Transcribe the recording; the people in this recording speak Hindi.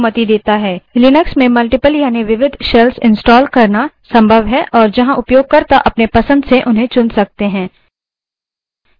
लिनक्स में multiple यानि विविध shells installed करना संभव है और जहाँ उपयोगकर्ता अपने पसंद से उन्हें चुन सकते हैं